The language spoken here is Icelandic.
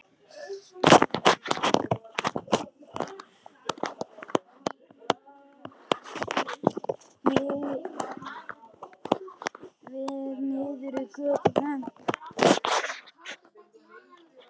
Við horfum niður í götuna.